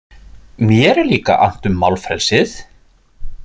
Mér er líka annt um málfrelsið.